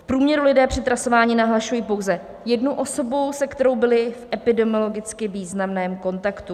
V průměru lidé při trasování nahlašují pouze jednu osobu, se kterou byli v epidemiologicky významném kontaktu.